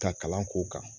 Ka kalan k'u kan